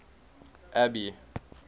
abby